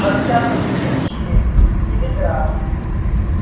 во всяком случае телеграф